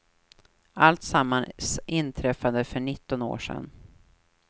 Alltsammans inträffade för nitton år sedan.